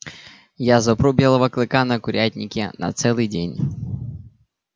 я запру белого клыка на курятнике на целый день